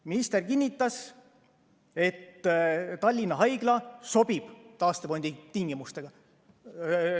Minister kinnitas, et Tallinna Haigla sobib taastefondi tingimustega.